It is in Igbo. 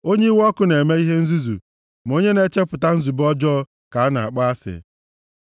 Onye iwe ọkụ na-eme ihe nzuzu, ma onye na-echepụta nzube ọjọọ ka a na-akpọ asị.